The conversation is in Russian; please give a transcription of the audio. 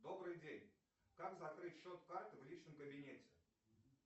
добрый день как закрыть счет карты в личном кабинете